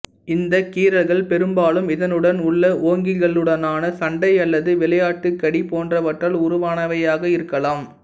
இந்தக் கீறல்கள் பெரும்பாலும் இதனுடன் உள்ள ஓங்கில்களுடனான சண்டை அல்லது விளையாட்டுக்கடி போன்றவற்றால் உருவானவையாக இருக்கலாம்